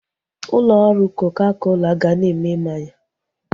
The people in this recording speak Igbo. Ụlọ ọrụ koka kola ga na-eme mmanya